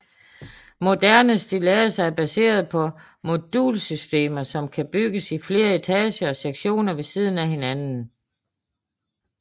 Moderne stilladser er baseret på modulsystemer som kan bygges i flere etager og sektioner ved siden af hinanden